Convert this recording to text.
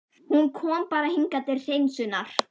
Hún kom bara hingað til hreinsunar!